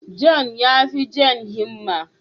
John ya fi Jane himma.